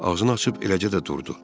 Ağzını açıb eləcə də durdu.